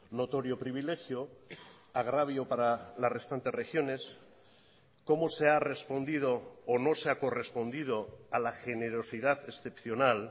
notorio privilegio agravio para las restantes regiones cómo se ha respondido o no se ha correspondido a la generosidad excepcional